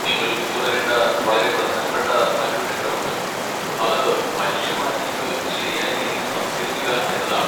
നിങ്ങൾ പിന്തുടരേണ്ട വളരെ പ്രധാനപ്പെട്ട മറ്റൊരു ഘട്ടമുണ്ട്, അത് മനുഷ്യ മാലിന്യങ്ങൾ ശരിയായ രീതിയിൽ സംസ്കരിക്കുക എന്നതാണ്.